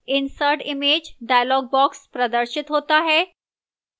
insert image dialog box प्रदर्शित होता है